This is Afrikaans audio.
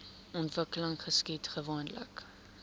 ontwikkeling geskied gewoonlik